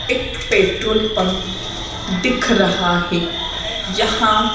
एक petrol pump दिख रहा है यहां--